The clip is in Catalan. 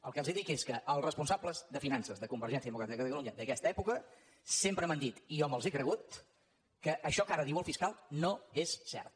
el que els dic és que els responsables de finances de convergència democràtica de catalunya d’aquesta època sempre m’han dit i jo me’ls he cregut que això que ara diu el fiscal no és cert